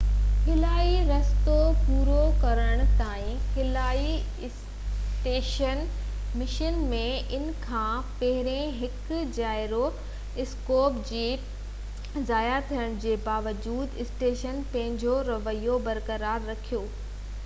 خلائي رستو پورو ڪرڻ تائين خلائي اسٽيشن مشن ۾ ان کان پهرين هڪ جائيرو اسڪوپ جي ضايع ٿيڻ جي باوجود اسٽيشن پنهنجو رويو برقرار رکيو